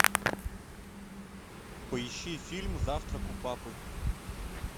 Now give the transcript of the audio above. поищи фильм завтрак у папы